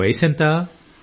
నీ వయసెంత